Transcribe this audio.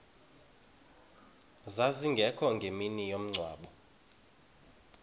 zazingekho ngemini yomngcwabo